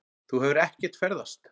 Þú hefur ekkert ferðast.